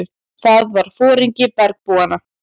Það var foringi bergbúanna.